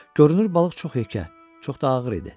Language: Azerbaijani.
Görünür balıq çox həkə, çox da ağır idi.